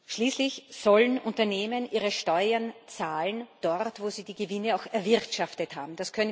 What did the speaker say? Schließlich sollen Unternehmen ihre Steuern dort zahlen, wo sie die Gewinne auch erwirtschaftet haben.